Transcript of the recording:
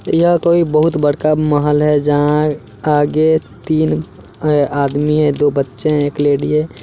यह कोई बहुत बड़का महल है जहां आगे तीन ए आदमी है दो बच्चे हैं एक लेडी है।